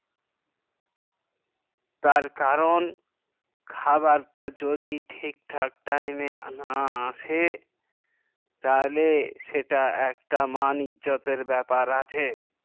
তার কারণ খাবার তা যদি ঠিক ঠাক time এ না আসে তাহলে সেটা একটা মান ইজ্জত এর ব্যাপার আছে